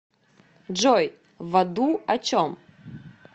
джой в аду о чем